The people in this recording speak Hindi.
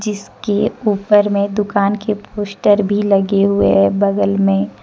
जिसके ऊपर में दुकान के पोस्टर भी लगे हुए हैं बगल में--